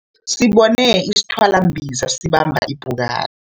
Sibone isithwalambiza sibamba ipukani.